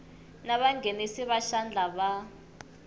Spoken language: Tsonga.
na vanghenisi va xandla va